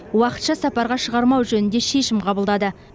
уақытша сапарға шығармау жөнінде шешім қабылдады